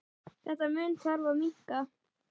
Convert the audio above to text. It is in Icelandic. Þennan mun þarf að minnka.